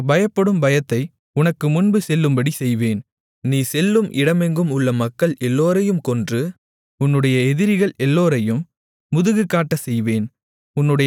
எனக்குப் பயப்படும் பயத்தை உனக்குமுன்பு செல்லும்படிச் செய்வேன் நீ செல்லும் இடமெங்கும் உள்ள மக்கள் எல்லோரையும் கொன்று உன்னுடைய எதிரிகள் எல்லோரையும் முதுகு காட்டச்செய்வேன்